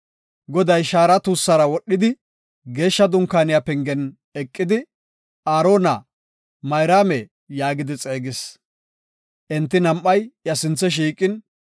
Goday shaara tuussara wodhidi Geeshsha Dunkaaniya pengen eqidi, Aarona! Mayraame! yaagidi xeegis. Enti nam7ay iya sinthe shiiqin,